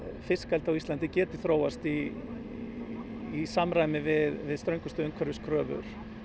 fiskeldi á Íslandi geti þróast í samræmi við ströngustu umhverfiskröfur